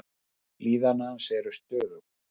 Líðan hans er stöðug.